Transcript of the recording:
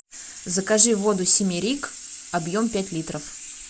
закажи воду симерик объем пять литров